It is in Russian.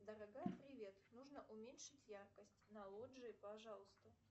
дорогая привет нужно уменьшить яркость на лоджии пожалуйста